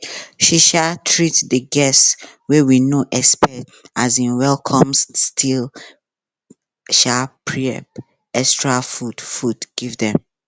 she um treat de guests wey we no expect um wellcomes still um prep extra food food give dem